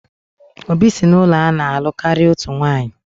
Obi si n'ezinaụlọ ana-alụ karịa otu nwanyị